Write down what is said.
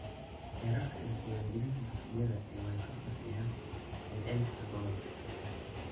Heerarka is-diiwaangelinta dugsiyada ee way ka hooseeyaan celceliska gobolka.